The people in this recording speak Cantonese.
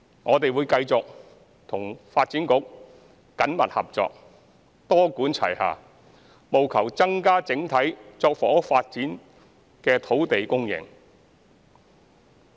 我們會繼續與發展局緊密合作，多管齊下，務求增加整體作房屋發展的土地供應。